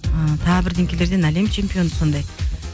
ыыы тағы бірдеңкелерден әлем чемпионы сондай